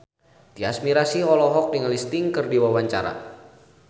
Tyas Mirasih olohok ningali Sting keur diwawancara